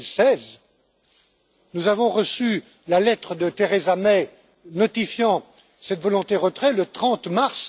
2016. Nous avons reçu la lettre de Theresa May notifiant cette volonté de retrait le 30 mars